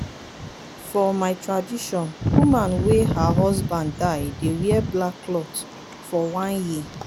for my tradition woman wey her husband die dey wear black clot for one year.